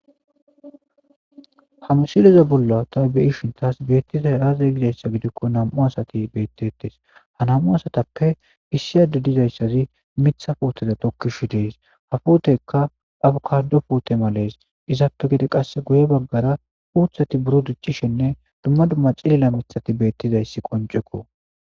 ha misileza bolla ta beyishin taas beettizay aaza gizayssa gidikko nam'u asati beettettes ha nam7u asatappe issi ade dizayssazi mitha footeza tokkishu dees ha footeykka abukardopoote malees izappe gede qasse guye baggara uuthati buro dichchishinne dumma dumma cilila mithati beettizayssi qoncekko